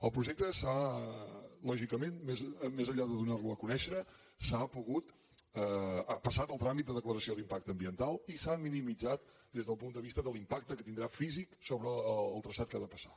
el projecte lògicament més enllà de donar lo a conèixer ha passat el tràmit de declaració d’impacte ambiental i s’ha minimitzat des del punt de vista de l’impacte que tindrà físic sobre el traçat que ha de passar